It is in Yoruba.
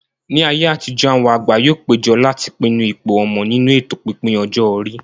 Ní ayé àtijó, àwọn àgbà yóò péjọ láti pinnu ipò ọmọ nínú ètò pípín ọjọ́ orí